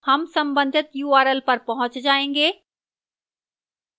हम संबंधित url पर पहुंच जायेंगे